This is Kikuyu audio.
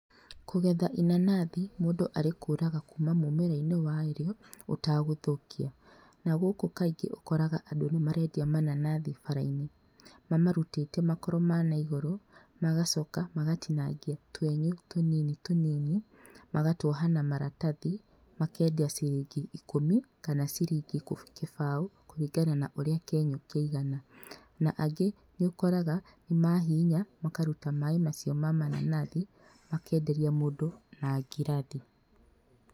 Kũgetha inanathi mũndũ arĩkũraga kuma mũmera-inĩ warĩo utagũthũkia na gũkũ kaingĩ ũkoraga andũ nĩ marendia mananathi bara-inĩ, mamarutĩte makoro ma naigũrũ magacoka magatinangia twenyũ tũnini magatuoha na maratathi makendia ciringi ikũmi kana ciringi gĩbaũ kũringana na ũrĩa kĩenyũ kĩigana na angĩ nĩ ũkoraga nĩ mahihinya makaruta maĩ macio ma mananathi makenderia mũndũ na ngirathi.